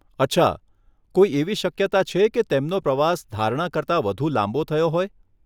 અચ્છા, કોઈ એવી શક્યતા છે કે તેમનો પ્રવાસ ધારણા કરતા વધુ લાંબો થયો હોય?